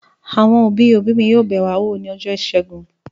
Àwọn òbí-òbí mi yóò bẹ̀ wá wò lọ́jọ́ ìṣẹ́gun.